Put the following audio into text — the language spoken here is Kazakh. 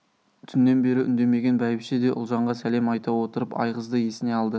түннен бері үндемеген бәйбіше де ұлжанға сәлем айта отырып айғызды есіне алды